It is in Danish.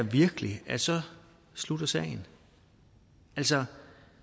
virkelig at så slutter sagen altså